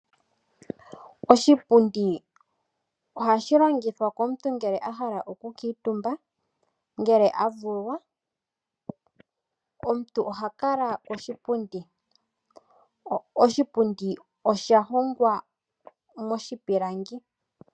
Oshipundi ohashi longithwa komuntu ngele ahala oku kuutumba, ngele a vulwa, Omuntu oha kala koshipundi. Oshipundi osha hongwa moshipilangi.